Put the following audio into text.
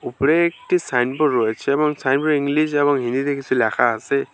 উপরে একটি সাইনবোর্ড রয়েছে এবং সাইনবোর্ডের ইংলিশ যেমন হিন্দিতে কিসু ল্যাখা আসে।